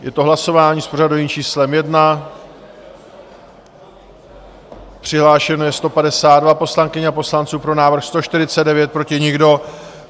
Je to hlasování s pořadovým číslem 1, přihlášeno je 152 poslankyň a poslanců, pro návrh 149, proti nikdo.